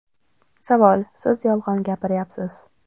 Savol : Siz yolg‘on gapiryapsiz.